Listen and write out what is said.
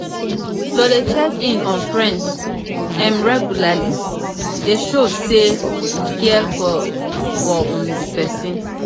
to de check in on friends um regularly de show say you you care for um di persin